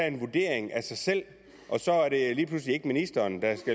en vurdering af sig selv og så er det lige pludselig ikke ministeren der